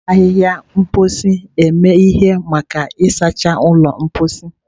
A na-eji ahịhịa mposi eme ihe maka ịsacha ụlọ mposi.